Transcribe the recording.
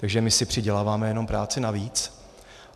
Takže my si přiděláváme jenom práci navíc.